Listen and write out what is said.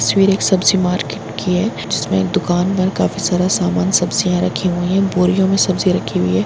तस्वीर एक सब्जी मार्केट की है जिसमे एक दुकान पर काफी सारे समान सब्जियां रखी हुई है बोरियों मे सब्जी रखी हुई है।